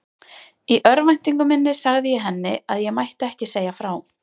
Í örvæntingu minni sagði ég henni að ég mætti ekki segja frá.